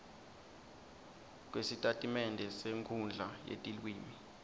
kwesitatimende senkhundla yetilwimi